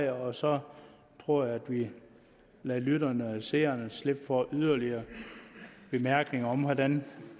og så tror jeg at vi lader lytterne og seerne slippe for yderligere bemærkninger om hvordan